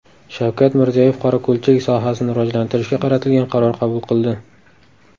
Shavkat Mirziyoyev qorako‘lchilik sohasini rivojlantirishga qaratilgan qaror qabul qildi.